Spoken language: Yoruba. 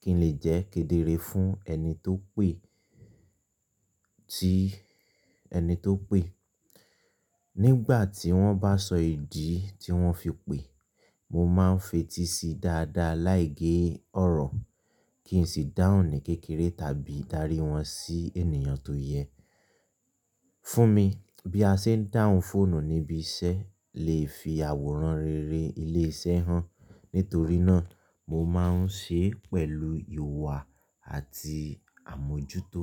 kí n lè jẹ́ kedere fún ẹni tó pè, tí ẹni tó pè. Nígbà tí wọ́n bá sọ ìdí tí wọ́n fi pè, mo ma ń fetí síi dáadáa láì gé ọ̀rọ̀ kí n sì dáhùn ní kékeré tàbí darí wọn sí ènìyàn tó yẹ. Fún mi, bí a ṣe ń dáhùn fóònù níbi iṣẹ́ lè fi àwòrán rere ilé iṣẹ́ hàn. Nítorí náà, mo ma ń ṣe é pẹ̀lú ìwà àti àmójútó.